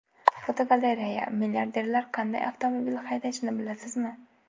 Fotogalereya: Milliarderlar qanday avtomobil haydashini bilasizmi?.